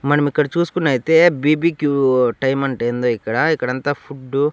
మనమిక్కడ చూసుకున్నైతే B B Q time అంట ఏందో ఇక్కడ ఇక్కడంతా ఫుడ్డు --